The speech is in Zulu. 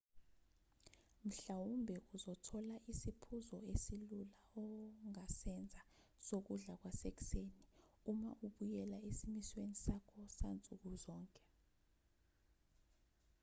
mhlawumbe uzothola isiphuzo esilula ongasenza sokudla kwasekuseni uma ubuyela esimisweni sakho sansuku zonke